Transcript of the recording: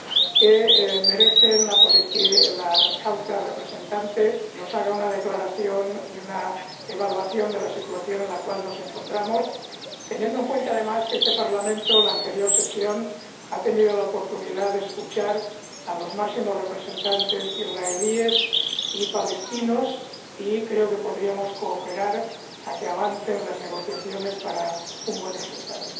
que merecen que la Alta Representante haga una declaración y una evaluación de la situación en la que nos encontramos, teniendo en cuenta, además, que este Parlamento, en la sesión pasada, tuvo la oportunidad de escuchar a los máximos representantes israelíes y palestinos, y creo que podríamos cooperar para que avancen las negociaciones para lograr un buen resultado.